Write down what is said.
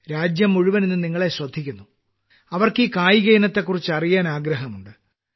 രാജ്യം മുഴുവൻ ഇന്ന് നിങ്ങളെ ശ്രദ്ധിക്കുന്നു അവർക്ക് ഈ കായികയിനത്തെക്കുറിച്ച് അറിയാൻ ആഗ്രഹമുണ്ട്